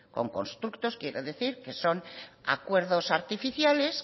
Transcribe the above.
con constructos quiero decir que son acuerdos artificiales